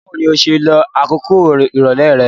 Báwoni o se lo àkókò ìrọ̀lẹ́ re